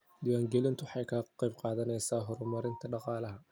Diiwaangelintu waxay ka qaybqaadataa horumarinta dhaqaalaha.